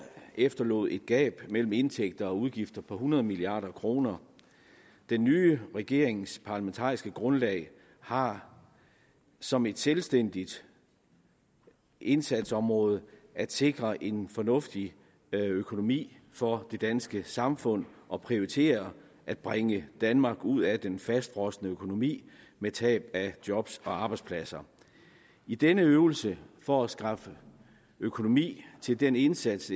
efterlod et gab mellem indtægter og udgifter på hundrede milliard kroner den nye regerings parlamentariske grundlag har som et selvstændigt indsatsområde at sikre en fornuftig økonomi for det danske samfund og prioritere at bringe danmark ud af den fastfrosne økonomi med tab af job og arbejdspladser i denne øvelse for at skaffe økonomi til den indsats